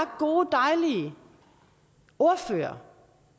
gode dejlige ordførere